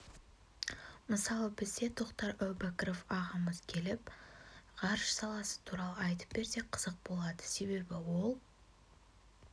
мысалы бізде тоқтар әубәкіров ағамыз келіп ғарыш саласы туралы айтып берсе қызық болады себебі ол